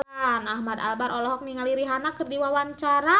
Ahmad Albar olohok ningali Rihanna keur diwawancara